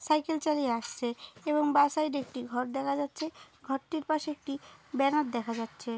Cycle চালিয়ে আসছে এবং বা সাইডে একটি ঘর দেখা যাচ্ছে ঘরটির পাশে একটি ব্যানার দেখা যাচ্ছে।